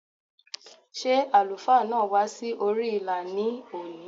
Ṣé àlùfáà náà wá sí orí ìlà ní òní?